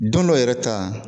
Don dɔ yɛrɛ ta